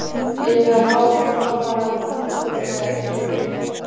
Eruð þið að fá þá bara út tímabilið eða er hugsað lengra til framtíðar?